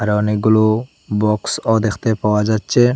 আর অনেকগুলো বক্সও দেখতে পাওয়া যাচ্ছে।